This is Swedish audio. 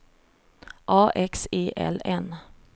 A X E L N